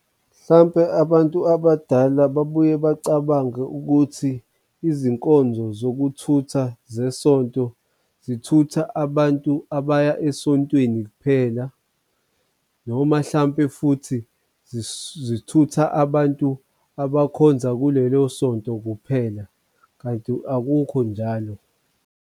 Mhlampe abantu abadala babuye bacabange ukuthi izinkonzo zokuthutha zesonto zithutha abantu abaya esontweni phela noma hlampe, futhi zithutha abantu abakhonza kulelo sonto kuphela kanti akukho njalo.